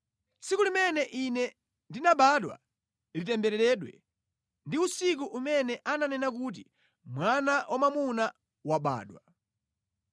“Tsiku limene ine ndinabadwa litembereredwe ndi usiku umene ananena kuti, ‘Mwana wamwamuna wabadwa!’